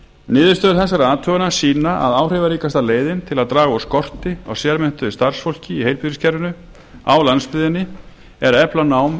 niðurstöður þessara athugana sýna að áhrifaríkasta leiðin til að draga úr skorti á sérmenntuðu starfsfólki í heilbrigðiskerfinu á landsbyggðinni er að efla nám í